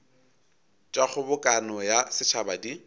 tša kgobokano ya setšhaba di